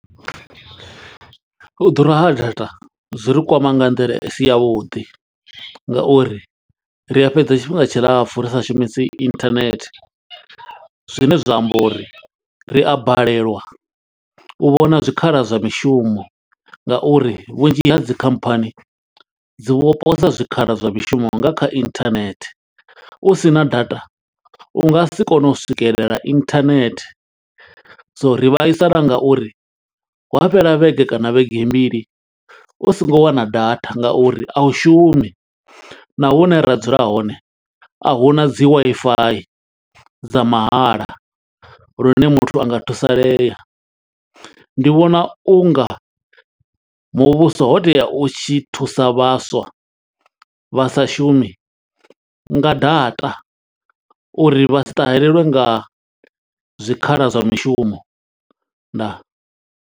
U ḓura ha data zwi ri kwama nga nḓila i si ya vhuḓi nga uri ri a fhedza tshifhinga tshilapfu ri sa shumisi internet. Zwine zwa amba uri ri a balelwa u vhona zwikhala zwa mishumo nga uri vhunzhi ha dzi khamphani, dzi vho posa zwikhala zwa mishumo nga kha internet. U sina data u nga si kone u swikelela internet. so ri vhaisala nga uri hu fhela vhege kana vhege mbili u songo wana data nga uri a u shumi. na hune ra dzula hone, a hu na dzi Wi-Fi dza mahala lune muthu a nga thusalea. ndi vhona u nga muvhuso ho tea u tshi thusa vhaswa vha sa shumi nga data, uri vha si ṱaheleliwe nga zwikhala zwa mishumo. Ndaa.